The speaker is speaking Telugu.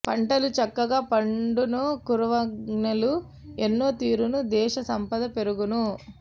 పంటలు చక్కగ పండును కరువ్ఞలు ఎన్నో తీరును దేశ సంపద పెరుగును